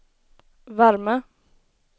värme